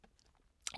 DR K